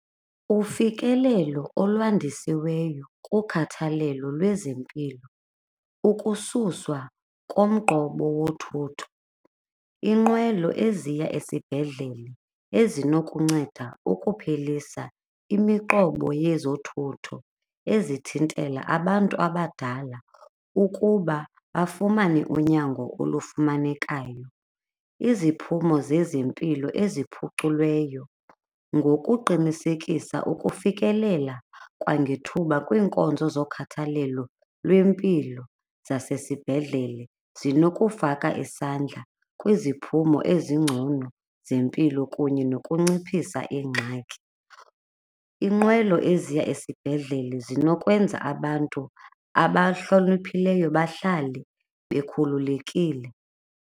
Ufikelelo olwandisiweyo kukhathalelo lwezempilo, ukususwa komqobo wothutho, iinqwelo eziya esibhedlele ezinokunceda ukuphelisa imiqobo yezothutho ezithintela abantu abadala ukuba bafumane unyango olufumanekayo. Iziphumo zezempilo eziphuculweyo ngokuqinisekisa ukufikelela kwangethuba kwiinkonzo zokhathalelo lwempilo zasesibhedlele zinokufaka isandla kwiziphumo ezingcono zempilo kunye nokunciphisa ingxaki. Iinqwelo eziya esibhedlele zinokwenza abantu abahloniphileyo bahlale bekhululekile.